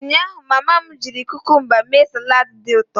Ụnyaahụ, mama m cucumbers mee salad dị ụtọ